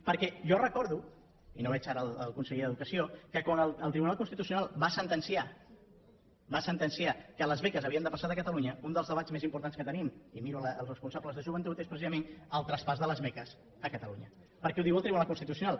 perquè jo recordo i no veig ara el conseller d’educació que quan el tribunal constitucional va sentenciar que les beques havien de passar a catalunya un dels debats més importats que tenim i miro els responsables de joventut és precisament el traspàs de les beques a catalunya perquè ho diu el tribunal constitucional